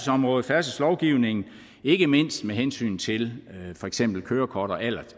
områder af færdselslovgivningen ikke mindst med hensyn til for eksempel kørekort og alder